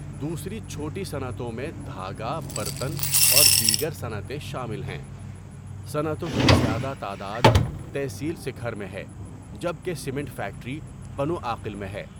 دوسری چھوٹی صنعتوں میں دهاگہ برتن اور دیگر صنعتیں شامل ہیں۔ صنعتوں کی زیادہ تعداد تحصیل سکهر میں ہے جبکہ سیمنٹ فیکٹری پنو عاقل میں ہے۔